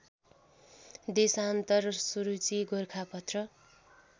देशान्तर सुरुचि गोरखापत्र